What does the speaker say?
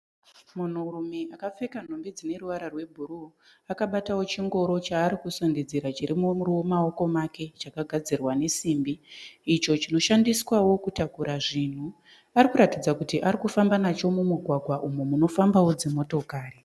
Munhurume akapfeka nhumbi dzine ruvara rwebhuru akabata chingoro chaari kusundidzira chiri mumako make chakagadzirwa nesimbi. Icho chinoshandiswawo kutakura zvinhu. Pari kuratidza kuti ari kumba nacho mumugwagwa unofambawo dzimotikari.